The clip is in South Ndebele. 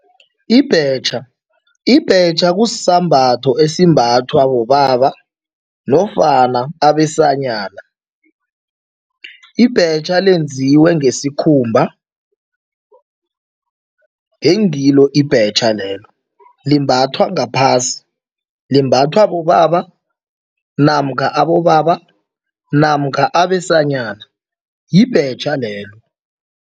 Ibhetjha, ibhetjha kusisambatho esimbathwa bobaba nofana abesanyana. Ibhetjha lenziwe ngesikhumba, ngengilo ibhetjha lelo. Limbathwa ngaphasi, limbathwa bobaba namkha abobaba namkha abesanyana, yibhetjha lelo.